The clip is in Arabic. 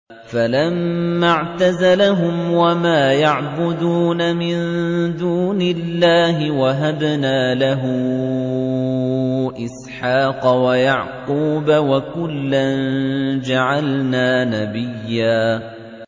فَلَمَّا اعْتَزَلَهُمْ وَمَا يَعْبُدُونَ مِن دُونِ اللَّهِ وَهَبْنَا لَهُ إِسْحَاقَ وَيَعْقُوبَ ۖ وَكُلًّا جَعَلْنَا نَبِيًّا